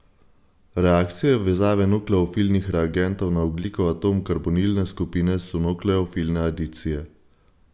Reakcije vezave nukleofilnih reagentov na ogljikov atom karbonilne skupine so nukleofilne adicije.